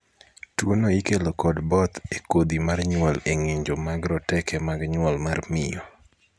tuo no ikelo kod both e kodhi mar nyuol e ng'injo mag roteke mag nyuol mar miyo